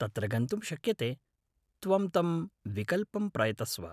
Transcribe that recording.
तत्र गन्तुं शक्यते, त्वं तं विकल्पं प्रयतस्व।